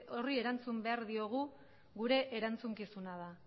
horri erantzun behar diogu gure erantzukizuna da